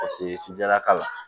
jalaka la